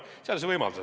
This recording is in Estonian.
Seadus seda ei võimalda.